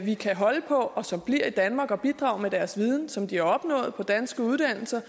vi kan holde på og som bliver i danmark og bidrager med deres viden som de har opnået på danske uddannelser